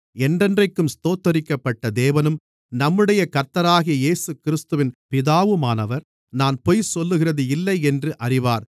என்றென்றைக்கும் ஸ்தோத்தரிக்கப்பட்ட தேவனும் நம்முடைய கர்த்தராகிய இயேசுகிறிஸ்துவின் பிதாவுமானவர் நான் பொய் சொல்லுகிறது இல்லை என்று அறிவார்